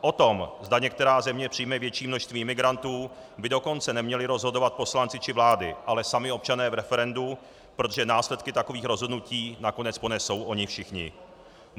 O tom, zda některá země přijme větší množství imigrantů, by dokonce neměli rozhodovat poslanci či vlády, ale sami občané v referendu, protože následky takových rozhodnutí nakonec ponesou oni všichni.